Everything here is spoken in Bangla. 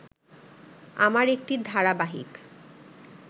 আমার একটি ধারাবাহিক